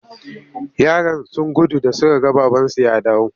Yaran sun gudu da suka ga babansu ya dawo.